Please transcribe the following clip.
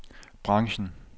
branchen